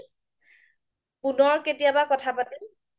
পুনৰ কেতিয়া কথা পাতিম